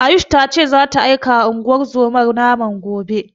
Ayush ta ce zata aikawa unguwar zomar naman gobe.